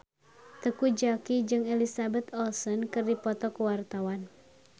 Teuku Zacky jeung Elizabeth Olsen keur dipoto ku wartawan